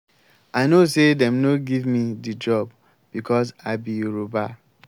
i know sey dem no give me di job because i be yoruba.